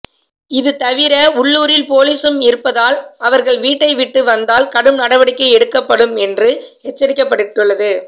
இது தவிர உள்ளூரில் போலீசும் இருப்பதால் அவர்கள் வீட்டை விட்டு வந்தால் கடும் நடடிக்கை எடுக்கப்படும் என்று எச்சரிக்கப்பட்டுள்ளது